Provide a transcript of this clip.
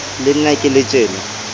le nna ke le tjena